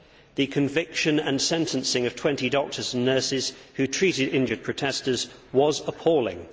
The conviction and sentencing of 20 doctors and nurses who treated injured protestors was appalling.